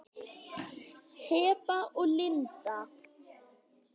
Heba og Linda.